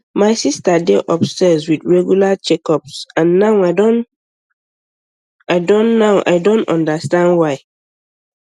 my sister dey obsessed with regular checkups and now i don now i don understand why